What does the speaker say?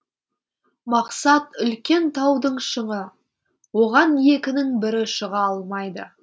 мақсат үлкен таудың шыңы оған екінің бірі шыға алмайды